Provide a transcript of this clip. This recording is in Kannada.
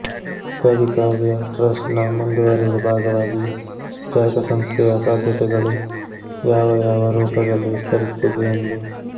ಕವಿ ಕಾವ್ಯ ಟ್ರಸ್ಟ್ ನ ಮುಂದುವರೆದ ಭಾಗವಾಗಿ ಚರಕ ಸಂಸ್ಥೆಯ ಸಾಧ್ಯತೆಗಳು ಯಾವ ಯಾವ ರೂಪದಲ್ಲಿ ವಿಸ್ತರಿಸುತ್ತಿದೆ ಎಂದು